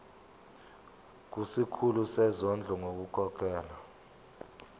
kusikhulu sezondlo ngokukhokhela